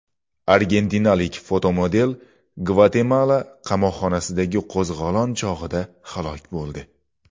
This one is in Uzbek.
Argentinalik fotomodel Gvatemala qamoqxonasidagi qo‘zg‘olon chog‘ida halok bo‘ldi.